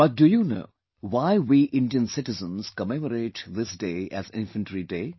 But, do you know why we Indian citizens commemorate this day as Infantry Day